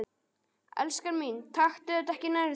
Elskan mín, taktu þetta ekki nærri þér.